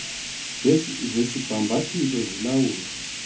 zesi sibhambathiso zilawulwa